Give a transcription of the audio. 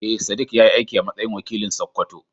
Eh, Sadiq ya yi aiki a matsayin wakili a Sakkwato.